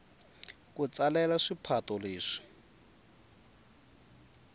ku tsalela swipato leswi